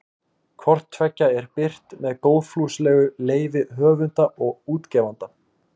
Hvort tveggja er birt með góðfúslegu leyfi höfunda og útgefanda.